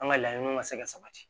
An ka laɲiniw ka se ka sabati